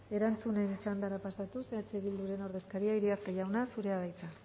erantzunen txandara pasatuz eh bilduren ordezkaria iriarte jauna zurea da hitza